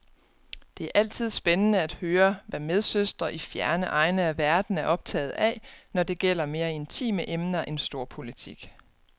Det er altid spændende at høre, hvad medsøstre i fjerne egne af verden er optaget af, når det gælder mere intime emner end storpolitik.